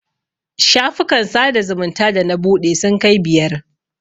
Shafukan sada zumunta da na buɗe sun kai biyar.